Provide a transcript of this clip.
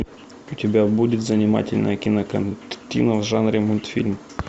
у тебя будет занимательная кинокартина в жанре мультфильм